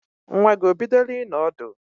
Nwa gi o bidole ịnọ ọdụ?